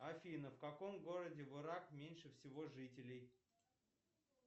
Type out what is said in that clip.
афина в каком городе в ирак меньше всего жителей